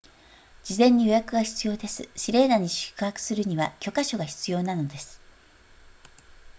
事前に予約が必要ですシレーナに宿泊するには許可証が必要なのです